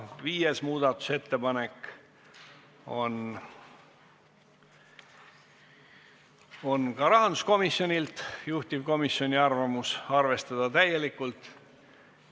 Viies muudatusettepanek on ka rahanduskomisjonilt, juhtivkomisjoni arvamus: arvestada täielikult.